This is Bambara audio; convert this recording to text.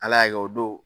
Ala y'a kɛ o don